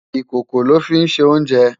Ikókó lò fi nsé oùnjè